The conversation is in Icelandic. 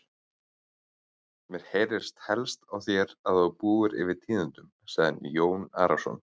Mér heyrist helst á þér að þú búir yfir tíðindum, sagði Jón Arason.